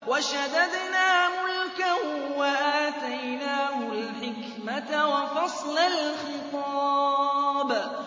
وَشَدَدْنَا مُلْكَهُ وَآتَيْنَاهُ الْحِكْمَةَ وَفَصْلَ الْخِطَابِ